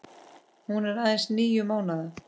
Hún er aðeins níu mánaða.